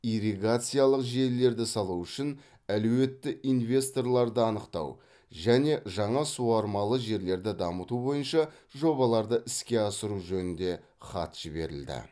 ирригациялық желілерді салу үшін әлеуетті инвесторларды анықтау және жаңа суармалы жерлерді дамыту бойынша жобаларды іске асыру жөнінде хат жіберілді